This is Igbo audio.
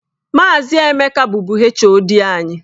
Maazị Emeka bụbu HOD anyị.